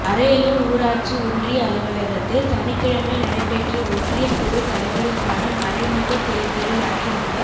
அரியலூா் ஊராட்சி ஒன்றிய அலுவலகத்தில் சனிக்கிழமை நடைபெற்ற ஒன்றிய குழுத் தலைவருக்கான மறைமுகத் தோ்தலில் அதிமுக